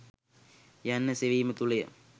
යන්න සෙවීම තුළය.